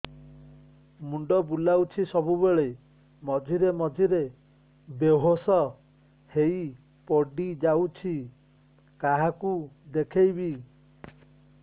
ମୁଣ୍ଡ ବୁଲାଉଛି ସବୁବେଳେ ମଝିରେ ମଝିରେ ବେହୋସ ହେଇ ପଡିଯାଉଛି କାହାକୁ ଦେଖେଇବି